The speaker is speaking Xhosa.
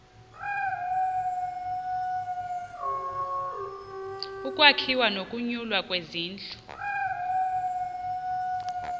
ukwakhiwa nokunyulwa kwezindlu